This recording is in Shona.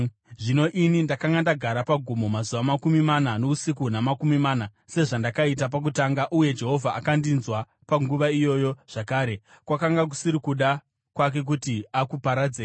Zvino ini ndakanga ndagara pagomo mazuva makumi mana nousiku huna makumi mana, sezvandakaita pakutanga, uye Jehovha akandinzwa panguva iyoyo zvakare. Kwakanga kusiri kuda kwake kuti akuparadzei.